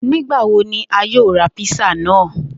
Nigbawo ni a yoo ra písà naa?